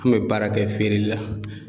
An bɛ baara kɛ feereli la.